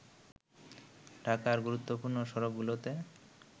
ঢাকার গুরুত্বপূর্ণ সড়কগুলোতে